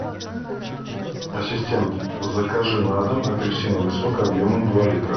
ассистент закажи на дом апельсиновый сок объемом два литра